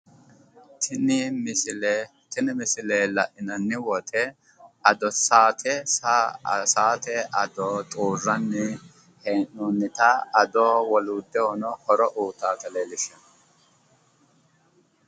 tini misile la'inanni woyiite saate saate ado xuurrani hee'noonnita ado woloottahono horo uyitaata leellishshanno